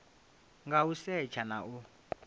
nga u setsha na u